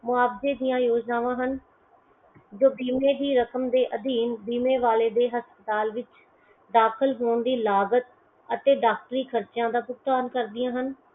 ਮੁਆਵਜ਼ੇ ਦੀਆ ਯੋਜਨਾਵਾਂ ਹਨ ਜੋ ਬੀਮੇ ਦੀ ਰਕਮ ਦੇ ਅਧੀਨ ਬੀਮੇ ਵਾਲੇ ਦੇ ਹਸਪਤਾਲ ਵਿੱਚ ਦਾਖ਼ਲ ਹੋਣ ਦੀ ਲਾਗਤ ਅਤੇ ਡਾਕਟਰੀ ਖਰਚਿਆਂ ਦਾ ਭੁਗਤਾਨ ਕਰਦਿਆਂ ਹਨ.